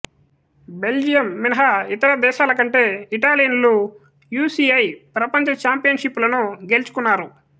Belgium మినహా ఇతర దేశాల కంటే ఇటాలియన్లు యు సి ఐ ప్రపంచ ఛాంపియన్షిప్పులను గెలుచుకున్నారు